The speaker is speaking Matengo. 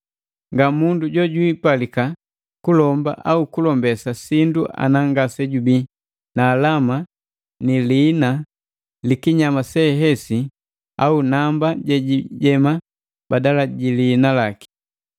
Ngamundu jojwiipalika kulomba au kulombesa sindu ana ngasejubii na alama ni liina likinyama sehesi au namba jejijema badala ji liina laki.